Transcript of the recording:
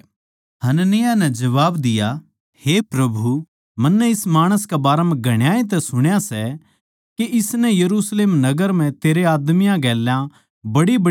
हनन्याह नै जबाब दिया हे प्रभु मन्नै इस माणस कै बारै म्ह घणाए तै सुण्या सै के इसनै यरुशलेम नगर म्ह तेरै आदमियाँ गेल्या बड्डीबड्डी बुराई करी सै